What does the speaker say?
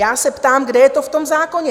Já se ptám, kde je to v tom zákoně?